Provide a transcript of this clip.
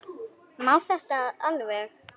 Má þetta alveg?